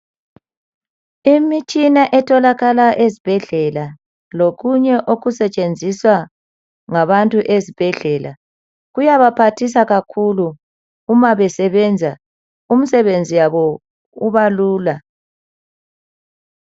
Imitshina etholakala ezibhedlela lokunye okusetshenziswa ngabantu ezibhedlela, kuyabaphathisa kakhulu uma besebenza imisebenzi yabo ibalula.